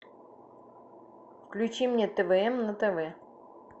включи мне твм на тв